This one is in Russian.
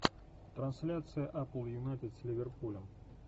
трансляция апл юнайтед с ливерпулем